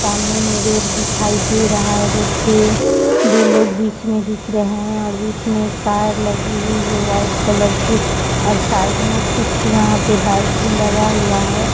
सामने मैं रोड दिखै दे रहा है रोड पे दो लोग बिच एम दिख रहे हैं और बीच में एक कार लगी हुई है व्हाइट कॉलर की और साइड और साइड मे यहां कुछ बाइक भी लगा हुआ है!